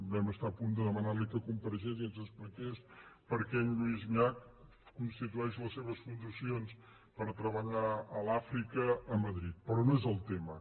vam estar a punt de de·manar·li que comparegués i ens expliqués per què en lluís llach constitueix les seves fundacions per treba·llar a l’àfrica a madrid però no és el tema